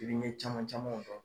Yirime caman camanw dɔn.